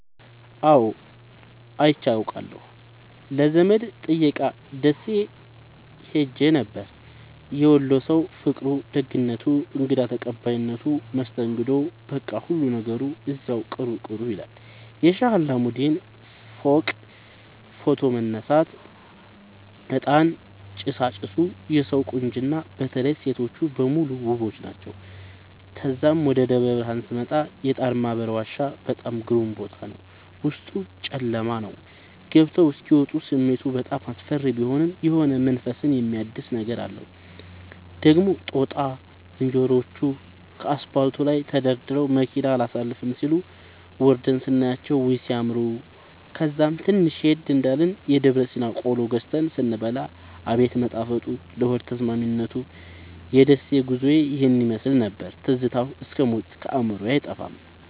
አዎድ አይቼ አቃለሁ ለዘመድ ጥየቃ ደሴ ኸሄ ነበር። የወሎ ሠዉ ፍቅሩ፣ ደግነቱ፣ እንግዳ ተቀባይነቱ መስተንግዶዉ በቃ ሁሉ ነገሩ እዚያዉ ቅሩ ቅሩ ይላል። የሼህ አላሙዲን ፎቅጋ ፎቶ መነሳት፤ እጣን ጭሣጭሡ የሠዉ ቁንጅና በተለይ ሤቶቹ በሙሉ ዉቦች ናቸዉ። ተዛም ወደ ደብረብርሀን ስመጣ የጣርማበር ዋሻ በጣም ግሩም ቦታ ነበር፤ ዉስጡ ጨለማ ነዉ ገብተዉ እስኪ ወጡ ስሜቱ በጣም አስፈሪ ቢሆንም የሆነ መንፈስን የሚያድስ ነገር አለዉ። ደግሞ ጦጣ ዝንሮዎቹ ከአስፓልቱ ላይ ተደርድረዉ መኪና አላሣልፍም ሢሉ፤ ወርደን ስናያቸዉ ዉይ! ሢያምሩ። ከዛም ትንሽ ሄድ እንዳልን የደብረሲና ቆሎ ገዝተን ስንበላ አቤት መጣፈጡ ለሆድ ተስማሚነቱ። የደሴ ጉዞዬ ይህን ይመሥል ነበር። ትዝታዉ እስክ ሞት ከአዕምሮየ አይጠፋም።